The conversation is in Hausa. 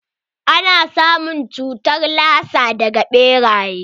Ana samun cutar lasa daga ɓeraye.